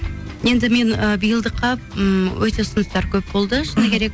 енді мен ы биылдыққа ммм өте ұсыныстар көп болды шыны керек